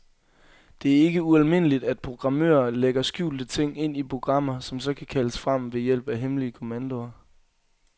Det er ikke ualmindeligt, at programmører lægger skjulte ting ind i programmer, som så kan kaldes frem ved hjælp af hemmelige kommandoer.